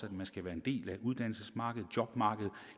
at man skal være en del af uddannelsesmarkedet jobmarkedet